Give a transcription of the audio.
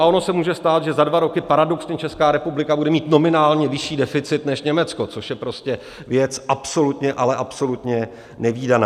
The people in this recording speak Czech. A ono se může stát, že za dva roky paradoxně Česká republika bude mít nominálně vyšší deficit než Německo, což je prostě věc absolutně, ale absolutně nevídaná.